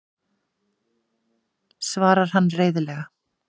svarar hann reiðilega.